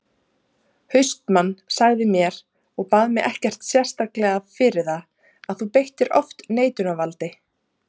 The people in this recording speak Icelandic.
HAustmann sagði mér, og bað mig ekkert sérstaklega fyrir það, að þú beittir oft neitunarvaldi.